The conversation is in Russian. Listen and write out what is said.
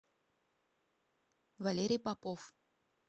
валерий попов